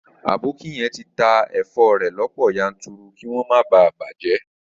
Aboki yen ti ta èfo rẹ̀ lọ́pọ̀ yanturu kí wọ́n má bàa bàjẹ́